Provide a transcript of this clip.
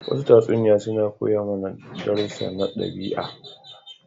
Wasu tatsuniya suna koya mana darussu na daɓi'a.